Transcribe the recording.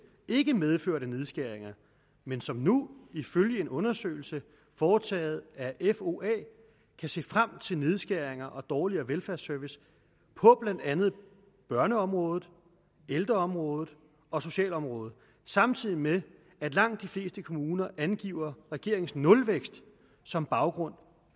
ikke medførte nedskæringer men som nu ifølge en undersøgelse foretaget af foa kan se frem til nedskæringer og dårligere velfærdsservice på blandt andet børneområdet ældreområdet og socialområdet samtidig med at langt de fleste kommuner angiver regeringens nulvækst som baggrunden